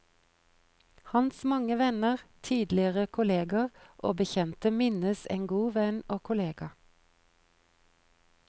Hans mange venner, tidligere kolleger og bekjente minnes en god venn og kollega.